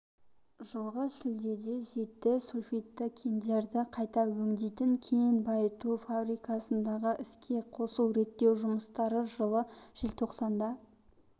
жылғы шілдеде жетті сульфидті кендерді қайта өңдейтін кен байыту фабрикасындағы іске қосу-реттеу жұмыстары жылы желтоқсанда